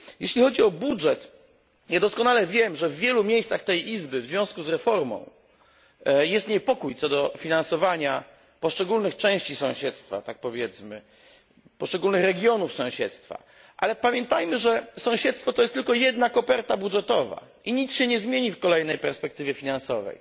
Jeśli chodzi o budżet, doskonale wiem, że w wielu miejscach tej Izby, w związku z reformą, panuje zgodność, co do finansowania poszczególnych części sąsiedztwa, poszczególnych jego regionów, ale pamiętajmy, że sąsiedztwo to tylko jedna koperta budżetowa i nic się nie zmieni w kolejnej perspektywie finansowej.